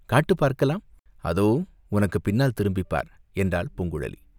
காட்டு, பார்க்கலாம்!" "அதோ உனக்குப் பின்னால் திரும்பிப் பார்!" என்றாள் பூங்குழலி.